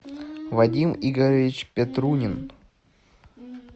вадим игоревич петрунин